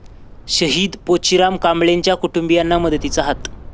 शहीद पोचीराम कांबळेंच्या कुटुंबीयांना मदतीचा हात